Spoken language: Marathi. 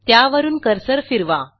त्यावरून कर्सर फिरवा